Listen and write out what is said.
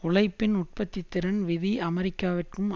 உழைப்பின் உற்பத்தி திறன் விதி அமெரிக்காவிற்கும்